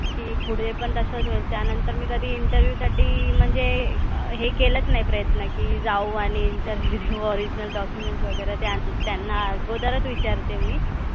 की पुढे पण तसंच होईल त्यानंतर मी कधी interview साठी म्हणजे हे केलंच नाही प्रयत्न की जाऊ आणि interview देऊ original documents वगैरे त्यांना आगोदरच विचारते मी